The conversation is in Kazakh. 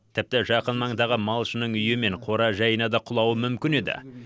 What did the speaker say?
тіпті жақын маңдағы малшының үйі мен қора жайына да құлауы мүмкін еді